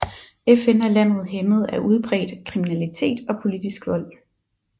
FN er landet hæmmet af udbredt kriminalitet og politisk vold